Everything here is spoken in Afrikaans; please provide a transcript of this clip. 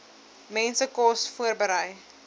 mense kos voorberei